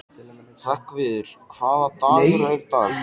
Hreggviður, hvaða dagur er í dag?